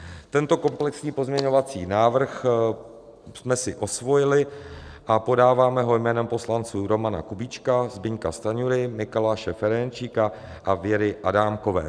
Tento komplexní pozměňovací návrh jsme si osvojili a podáváme ho jménem poslanců Romana Kubíčka, Zbyňka Stanjury, Mikuláše Ferjenčíka a Věry Adámkové.